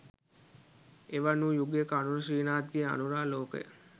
එවන් වූ යුගයක අනුර ශ්‍රීනාත්ගේ අනුරාලෝකය